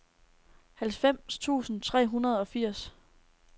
halvfems tusind tre hundrede og firs